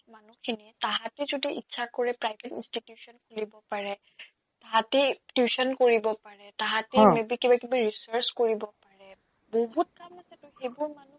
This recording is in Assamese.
মানুহখিনিয়ে তাহাতে যদি ইচ্ছা কৰে private institution খুলিব পাৰে তাহাতে টিউচন কৰিব পাৰে তাহাতে অ maybe কিবাকিবি research কৰিব পাৰে বহুত কাম আছেটো সেইবোৰ মানুহ